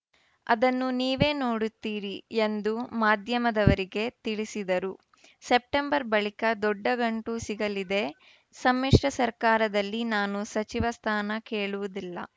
ಅದನ್ನು ನೀವೇ ನೋಡುತ್ತೀರಿ ಎಂದು ಮಾಧ್ಯಮದವರಿಗೆ ತಿಳಿಸಿದರು ಸೆಪ್ಟೆಂಬರ್‌ ಬಳಿಕ ದೊಡ್ಡ ಗಂಟು ಸಿಗಲಿದೆ ಸಮ್ಮಿಶ್ರ ಸರ್ಕಾರದಲ್ಲಿ ನಾನು ಸಚಿವ ಸ್ಥಾನ ಕೇಳುವುದಿಲ್ಲ